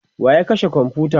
wa ya kashe komfuta?